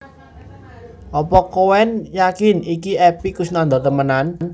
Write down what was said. Opo koen yakin iki Epy Koesnandar temenan?